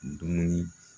Dumuni